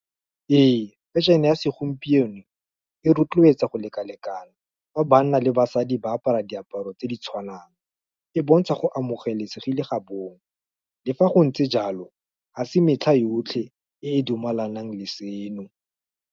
Ee fashion-e ya segompieno e rotloetsa go lekalekana, ga banna le basadi ba apara diaparo tse di tshwanang, e bontsha go amogelesegile ga bong, le fa go ntse jalo, ga se metlha yotlhe e dumalanang le seno.